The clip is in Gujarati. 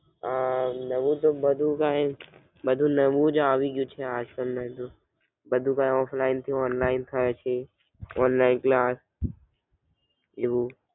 આહ નવું તો બધું કાય, બધું નવુ જ આજ કલ તો બધું કાય Offline થી Online થાય છે Online થી આ એવુ.